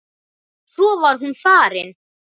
Svo var hún farin.